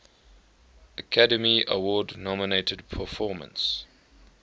academy award nominated performance